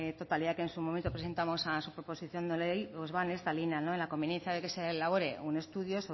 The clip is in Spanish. totalidad que en su momento presentamos a su proposición de ley pues va en esta línea en la conveniencia que se elabore un estudio